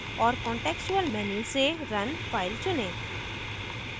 और contextual menu से run file चुनें